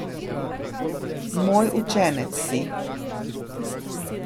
Moj učenec si.